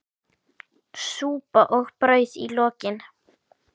Súpa og brauð í lokin.